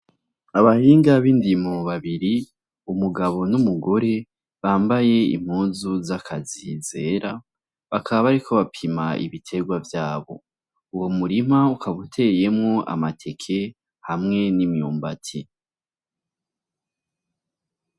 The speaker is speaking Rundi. Abahinga b'indimo babiri umugabo n'umugore bambaye impuzu z'akazi zera bakaba bariko bapima ibiterwa vyabo uwo murima ukabuteyemwo amateke hamwe n'imyumbati.